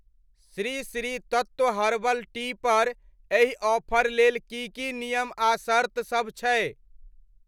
Shri Shri Tattva herbal tea पर एहि offer लेल की की नियम आ शर्तसभ छै?